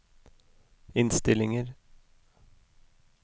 innstillinger